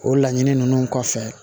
O laɲini ninnu kɔfɛ